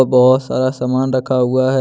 बहोत सारा समान रखा हुआ है।